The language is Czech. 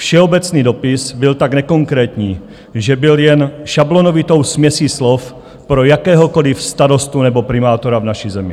Všeobecný dopis byl tak nekonkrétní, že byl jen šablonovitou směsí slov pro jakéhokoli starostu nebo primátora v naší zemi.